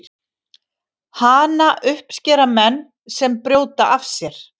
Hana uppskera menn sem brjóta af sér.